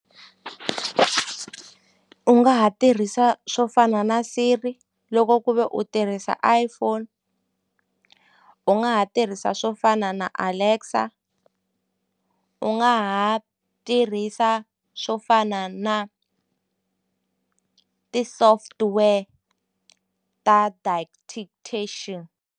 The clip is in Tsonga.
U nga ha tirhisa swo fana na siri loko ku ve u tirhisa iPhone u nga ha tirhisa swo fana na Alexar u nga ha tirhisa swo fana na ti-software ta .